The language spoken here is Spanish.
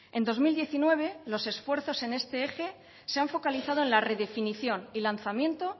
en dos mil diecinueve los esfuerzos en este eje se han focalizado en la redefinición y lanzamiento